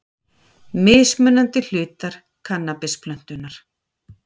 Mismunandi hlutar kannabisplöntunnar.